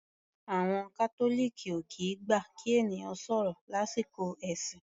Àwọn Catholic ò kìí gbà kí ènìyàn sọ̀rọ̀ lásìkò ẹ̀sìn.